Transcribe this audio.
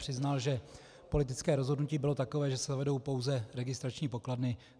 Přiznal, že politické rozhodnutí bylo takové, že se vedou pouze registrační pokladny.